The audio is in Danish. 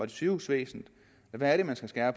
det sygehusvæsenet hvad er det man skal skære